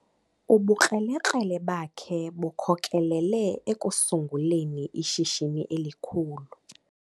Ubukrelekrele bakhe bukhokelele ekusunguleni ishishini elikhulu.